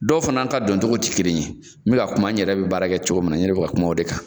Dɔw fana ta doncogo ti kelen ye be ka kuma n yɛrɛ be baara kɛ cogo min na n yɛrɛ be ka kuma o de kan